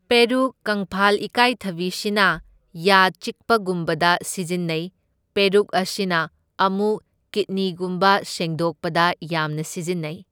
ꯄꯦꯔꯨꯛ, ꯀꯪꯐꯥꯜ ꯏꯀꯥꯏꯊꯕꯤꯁꯤꯅ ꯌꯥ ꯆꯤꯛꯄꯒꯨꯝꯕꯗ ꯁꯤꯖꯤꯟꯅꯩ, ꯄꯦꯔꯨꯛ ꯑꯁꯤꯅ ꯑꯃꯨꯛ ꯀꯤꯠꯅꯤꯒꯨꯝꯕ ꯁꯦꯡꯗꯣꯛꯄꯗ ꯌꯥꯝꯅ ꯁꯤꯖꯤꯟꯅꯩ꯫